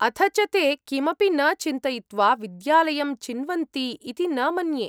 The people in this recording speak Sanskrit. अथ च ते किमपि न चिन्तयित्वा विद्यालयं चिन्वन्ति इति न मन्ये।